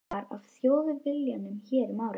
Sá sami og rekinn var af Þjóðviljanum hér um árið.